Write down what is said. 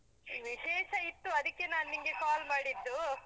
ವಿಶೇಷ ಇತ್ತು, ಅದಿಕ್ಕೆ ನಾನ್ ನಿಂಗೆ call ಮಾಡಿದ್ದು.